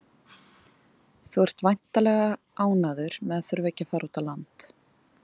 Þú ert væntanlega ánægður með að þurfa ekki að fara út á land?